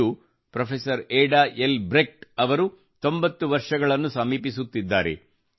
ಇಂದು professor Ada Elbrecht ಅವರು 90 ವರ್ಷ ಸಮೀಪಿಸುತ್ತಿದ್ದಾರೆ